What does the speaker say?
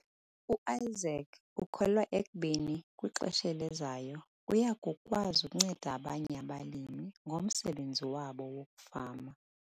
UIsaac ukholelwa ekubeni kwixesha elizayo uya kukwazi ukunceda abanye abalimi ngomsebenzi wabo wokufama.